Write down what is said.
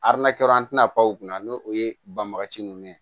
an tɛna pan u kunna n'o o ye banbagaci ninnu ye